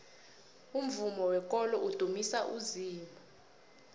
umvumo wekolo udumisa uzimu